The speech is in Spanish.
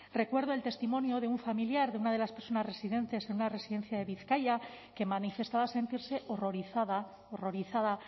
recuerdo el testimonio de un familiar de una de las personas residentes en una residencia de bizkaia que manifestaba sentirse horrorizada horrorizada